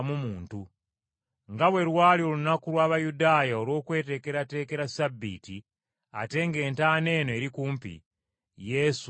Nga bwe lwali olunaku lw’Abayudaaya olw’okweteekerateekera Ssabbiiti ate ng’entaana eno eri kumpi, Yesu ne bamussa omwo.